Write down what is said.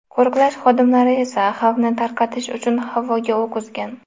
Qo‘riqlash xodimlari esa xalqni tarqatish uchun havoga o‘q uzgan.